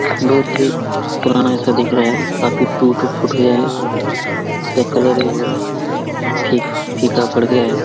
बहुत ही पुराना सा दिख रहा है काफी टूट फुट गया है जिसका कलर भी बहुत फिक फीका पड़ गया है।